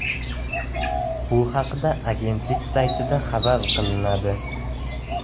Bu haqda agentlik saytida xabar qilinadi .